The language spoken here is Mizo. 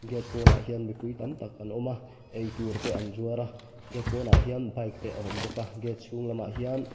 gate pawnah hian mipui tam tak an awm a eitur te an zuar a gate pawnah hian bike te a awm bawk a gate chhung lamah hian --